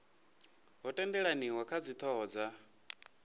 ho tendelaniwa kha dzithoho dza